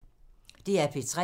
DR P3